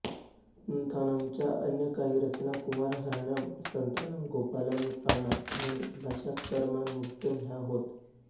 पुंथानमच्या अन्य काही रचना कुमार हरणम् संतान गोपालम् पाना आणि भाषा कर्मामृतम् ह्या होत